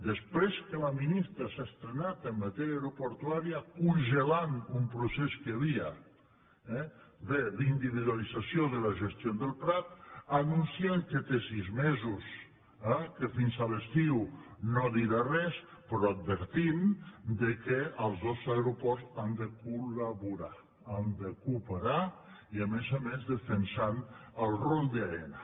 després que la ministra s’ha estrenat en matèria aeroportuària congelant un procés que hi havia eh d’individualització de la gestió del prat anunciant que té sis mesos que fins a l’estiu no dirà res però advertint que els dos aeroports han de cola més defensant el rol d’aena